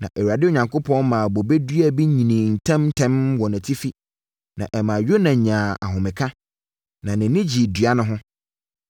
Na Awurade Onyankopɔn maa bobe dua bi nyinii ntɛm ntɛm wɔ nʼatifi na ɛmaa Yona nyaa ahomeka, na nʼani gyee dua no ho.